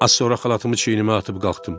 Az sonra xalatımı çiynimə atıb qalxdım.